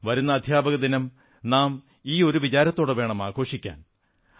വരുന്ന അധ്യാപക ദിനം നാം ഈ ഒരു വിചാരത്തോടെ വേണം ആഘോഷിക്കാൻ